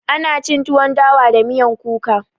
Ana cin tuwon dawa da miyan kuka.